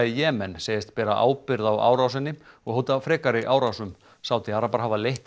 í Jemen segist bera ábyrgð á árásinni og hótar frekari árásum Sádi arabar hafa leitt